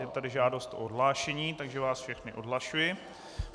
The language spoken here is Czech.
Je tady žádost o odhlášení, takže vás všechny odhlašuji.